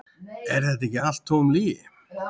Er þetta ekki allt tóm lygi?